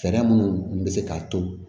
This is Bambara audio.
Fɛɛrɛ minnu bɛ se k'a to